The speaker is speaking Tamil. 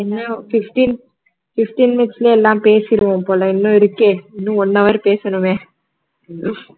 இன்னும் fifteen fifteen minutes ல எல்லாம் பேசிருவோம் போல இன்னும் இருக்கே இன்னும் one hour பேசணுமே